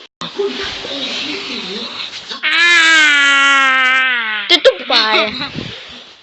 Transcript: ты тупая